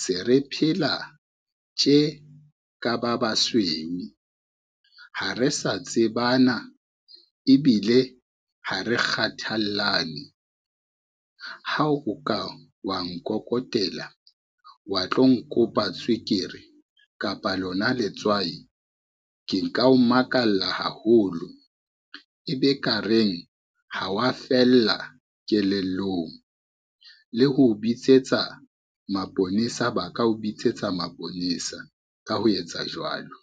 se re phela tje ka ba basweu. Ha re sa tsebana ebile ha re kgathallane, ha o ka wa nkokotela wa tlo nkopa tswekere kapa lona letswai, ke nka o makala haholo e be ka reng ha wa fella kelellong, le ho o bitsetsa maponesa ba ka o bitsetsa maponesa ka ho etsa jwalo.